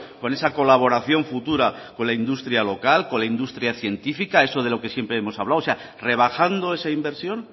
con esa colaboración futura con la industria local con la industria científica eso de lo que siempre hemos hablado o sea rebajando esa inversión